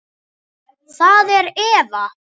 Það er Eva.